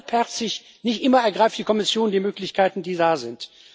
Halbherzig nicht immer ergreift die Kommission die Möglichkeiten, die da sind.